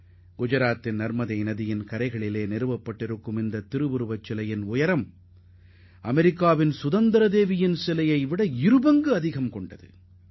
குஜராத்தின் நர்மதா ஆற்றங்கரையில் அமைக்கப்பட்டுள்ள இந்த சிலை அமெரிக்காவின் சுதந்திர தேவி சிலையைப் போன்று இரண்டு மடங்கு உயரம் கொண்டதாகும்